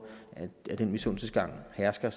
den misundelsestankegang hersker